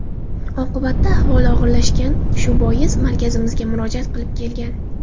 Oqibatda ahvoli og‘irlashgan, shu bois markazimizga murojaat qilib kelgan.